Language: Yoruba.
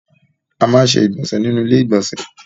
A máa ń ṣe ìgbọ̀nsẹ̀ nínú ilé ìgbọ̀nsẹ̀.